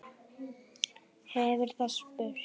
hefur það spurt.